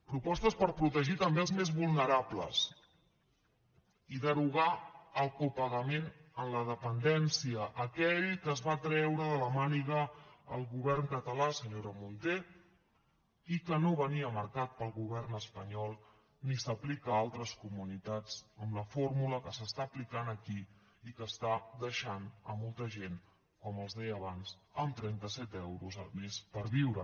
propostes per protegir també els més vulnerables i derogar el copagament en la dependència aquell que es va treure de la màniga el govern català senyora munté i que no venia marcat pel govern espanyol ni s’aplica a altres comunitats amb la fórmula que s’està aplicant aquí i que està deixant molta gent com els deia abans amb trenta set euros al mes per viure